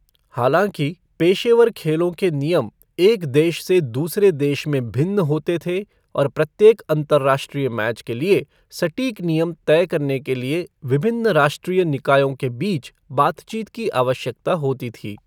हालाँकि, पेशेवर खेलों के नियम एक देश से दूसरे देश में भिन्न होते थे और प्रत्येक अंतर्राष्ट्रीय मैच के लिए सटीक नियम तय करने के लिए विभिन्न राष्ट्रीय निकायों के बीच बातचीत की आवश्यकता होती थी।